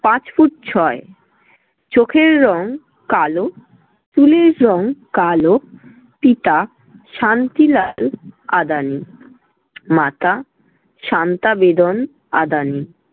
পাঁচ ফুট ছয়। চোখের রং কালো, চুলের রং কালো। পিতা শান্তিলাল আদানি, মাতা শান্তা বেদন আদানি